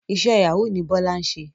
Iṣẹ́ Yahoo ni Bọ́lá ń ṣe